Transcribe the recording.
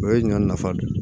O ye ɲɔ nafa dɔ ye